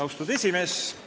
Austatud esimees!